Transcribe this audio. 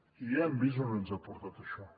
i ja hem vist on ens ha portat això